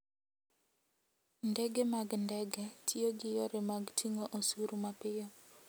Ndege mag ndege tiyo gi yore mag ting'o osuru mapiyo.